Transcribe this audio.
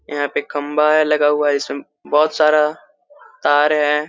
यहाँ पे खम्बा लगा हुआ है इसमें बहुत सारा तार है। ---